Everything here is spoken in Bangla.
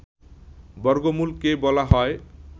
বর্গমূল কে বলা হয়